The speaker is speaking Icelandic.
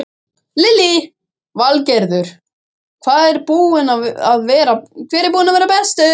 Lillý Valgerður: Hver er búinn að vera bestur?